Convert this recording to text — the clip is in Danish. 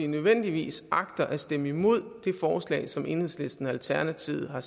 nødvendigvis agter at stemme imod det forslag som enhedslisten og alternativet har